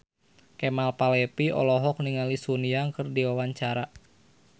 Kemal Palevi olohok ningali Sun Yang keur diwawancara